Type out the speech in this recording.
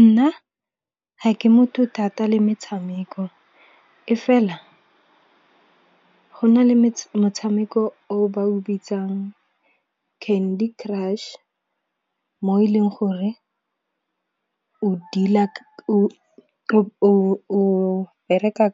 Nna ga ke motho thata le metshameko, e fela go na le motshameko o ba o bitsang Candy Crush. Mo e leng gore o deal-a o bereka